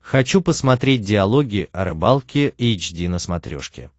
хочу посмотреть диалоги о рыбалке эйч ди на смотрешке